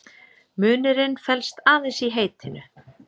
Munurinn felst aðeins í heitinu.